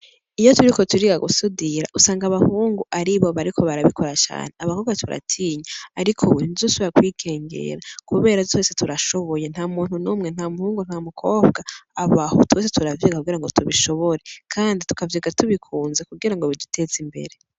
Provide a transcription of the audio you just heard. Iyo turiko turiga gusudira usanga abahungu aribo bariko barabikora cane, abakobwa turatinya, ariko ubu ntituzosubira kwikengera kubera twese turashoboye. Nta muntu n'umwe, nta muhungu, nta mukobwa abaho, twese turavyiga kugirango tubishobore kandi tukavyiga tubikunze kugirango biduteze imbere.